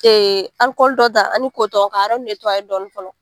Ee dɔ ta ani ka yɔrɔ dɔɔni fɔlɔ.